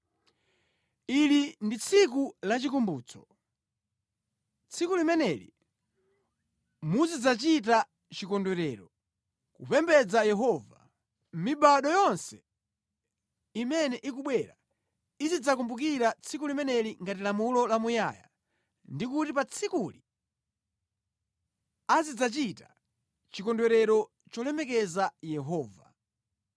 “Ili ndi tsiku la chikumbutso. Tsiku limeneli muzidzachita chikondwerero, kupembedza Yehova. Mibado yonse imene ikubwera izidzakumbukira tsiku limeneli ngati lamulo lamuyaya ndi kuti pa tsikuli azidzachita chikondwerero cholemekeza Yehova.